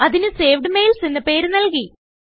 അതിന് സേവ്ഡ് Mailsഎന്ന് പേര് നൽകി